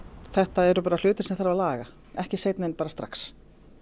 þetta eru hlutir sem þarf að laga ekki seinna en strax